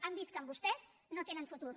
han vist que amb vostès no tenen futur